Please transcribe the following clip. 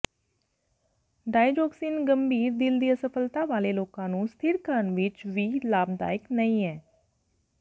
digoxin ਗੰਭੀਰ ਦਿਲ ਦੀ ਅਸਫਲਤਾ ਵਾਲੇ ਲੋਕਾਂ ਨੂੰ ਸਥਿਰ ਕਰਨ ਵਿੱਚ ਵੀ ਲਾਭਦਾਇਕ ਨਹੀਂ ਹੈ